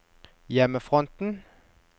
hjemmefronten